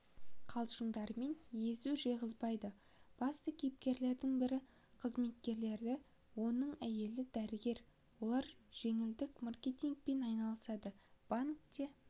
қалжыңдарымен езу жиғызбайды басты кейіпкердің бірі қызметкері оның әйелі дәрігер олар желілік маркетингпен айналысады банкте